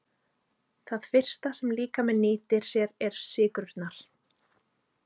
Það fyrsta sem líkaminn nýtir sér eru sykrurnar.